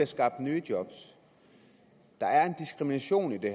skabt nye job og der er en diskrimination i det